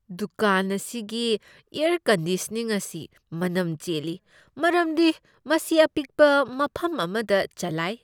ꯗꯨꯀꯥꯟ ꯑꯁꯤꯒꯤ air conditioning ꯑꯁꯤ ꯃꯅꯝ ꯆꯦꯜꯂꯤ ꯃꯔꯝꯗꯤ ꯃꯁꯤ ꯑꯄꯤꯛꯄ ꯃꯐꯝ ꯑꯃꯗ ꯆꯂꯥꯏ ꯫